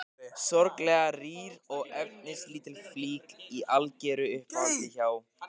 Sorglega rýr og efnislítil flík í algeru uppáhaldi hjá